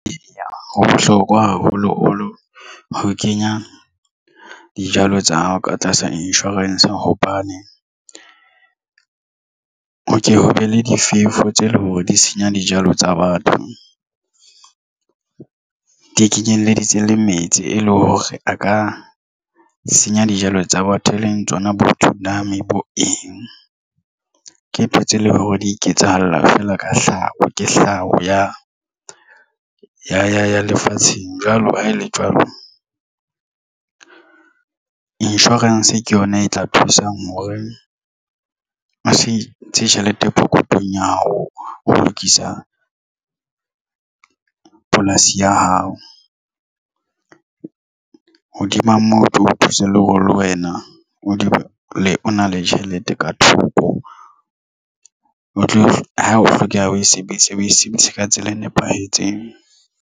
Eya, ho bohlokwa haholoholo ho kenya dijalo tsa hao ka tlasa insurance hobane ho ke ho be le difefo tse leng hore di senya dijalo tsa batho di kenyelleditse le metsi e leng hore a ka senya dijalo tsa batho, e leng tsona tsunami bo eng ke ntho tse leng hore di iketsahalla feela ka hlaho ke hlaho ya lefatsheng jwalo ha ele jwalo insurance ke yona e tla thusang hore o se ntshe tjhelete pokothong ya hao ho lokisa polasi ya hao. Hodima moo o tlo o thusa le hore le wena o dula o na le tjhelete ka thoko o tlo ho hlokeha o e sebedisa o e sebedise ka tsela e nepahetseng.